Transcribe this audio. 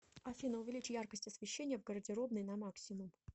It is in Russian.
афина увеличь яркость освещения в гардеробной на максимум